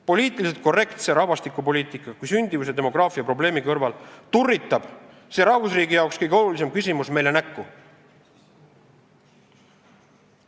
Poliitiliselt korrektse rahvastikupoliitika kui sündimuse ja demograafia probleemi kõrval turritab see rahvusriigi jaoks kõige olulisem küsimus meile näkku.